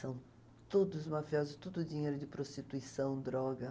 São todos mafiosos, tudo dinheiro de prostituição, droga.